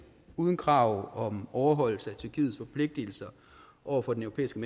uden krav om overholdelse af tyrkiets forpligtelser over for den europæiske